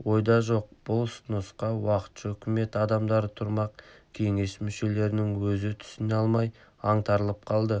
ойда жоқ бұл ұсынысқа уақытша үкімет адамдары тұрмақ кеңес мүшелерінің өзі түсіне алмай аңтарылып қалды